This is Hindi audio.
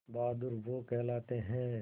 बहादुर वो कहलाते हैं